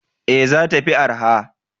Ee, za ta fi arha.